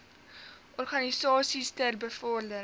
organisasies ter bevordering